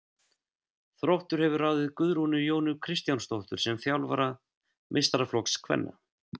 Þróttur hefur ráðið Guðrúnu Jónu Kristjánsdóttur sem þjálfara meistaraflokks kvenna.